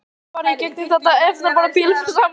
Við höfum farið í gegnum þetta erfiða tímabil saman.